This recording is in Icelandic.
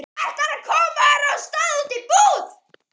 Ætlarðu að koma þér af stað út í búð?